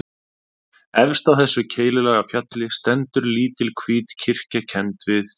Efst á þessu keilulaga fjalli stendur lítil hvít kirkja kennd við